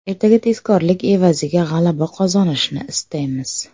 Ertaga tezkorlik evaziga g‘alaba qozonishni istaymiz.